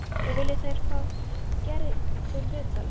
Nú vilja þeir fá Gerði til viðtals.